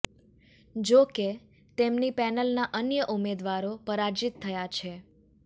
જો કે તેમની પેનલના અન્ય ઉમેદવારો પરાજિત થયા છે